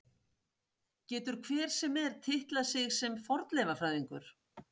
Getur hver sem er titlað sig sem fornleifafræðingur?